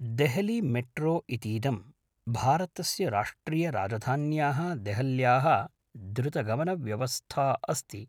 देहलीमेट्रो इतीदं भारतस्य राष्ट्रियराजधान्याः देहल्याः द्रुतगमनव्यवस्था अस्ति,